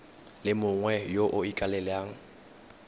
le mongwe yo o ikaelelang